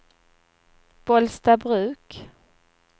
Bollstabruk